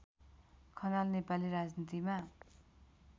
खनाल नेपाली राजनीतिमा